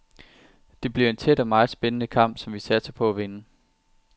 Det bliver en tæt og meget spændende kamp, som vi satser på at vinde.